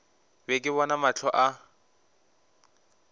be ke bona mahlo a